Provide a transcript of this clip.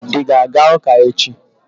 ị ga-aga ụka echi?